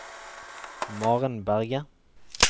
Maren Berge